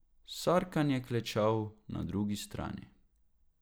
Sarkan je klečal na drugi strani.